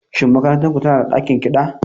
Shin makarantar ku tana da ɗakin kiɗa?